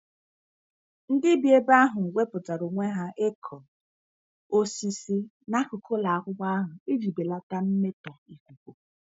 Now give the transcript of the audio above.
Ndị bi ebe ahụ wepụtara onwe ha ịkụ osisi n'akụkụ ụlọ akwụkwọ ahụ iji belata mmetọ ikuku.